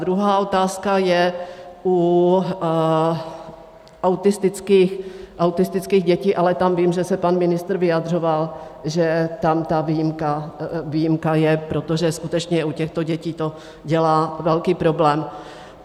Druhá otázka je u autistických dětí, ale tam vím, že se pan ministr vyjadřoval, že tam ta výjimka je, protože skutečně u těchto dětí to dělá velký problém.